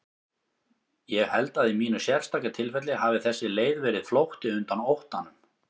Ég held að í mínu sérstaka tilfelli hafi þessi leið verið flótti undan óttanum.